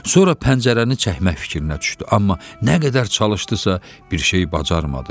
Sonra pəncərəni çəkmək fikrinə düşdü, amma nə qədər çalışdısa, bir şey bacarmadı.